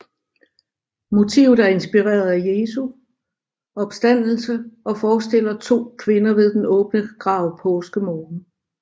Motivet er inspireret af Jesu opstandelse og forestiller to kvinder ved den åbne grav påskemorgen